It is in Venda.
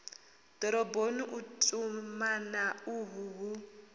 doroboni u tumana uhu hu